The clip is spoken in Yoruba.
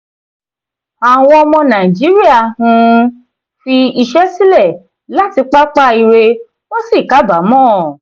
àwọn ọmọ nàíjíríà um fi iṣẹ́ sílẹ̀ láti pápá ire wọ́n sì kábàámọ̀.